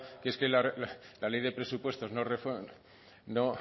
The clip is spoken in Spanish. que es que la ley de presupuestos no